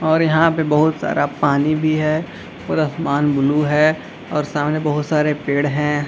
और यहाँ पर बहुत सारा पानी भी है और आसमान ब्लू है और सामने बहुत सारे पेड़ हैं ।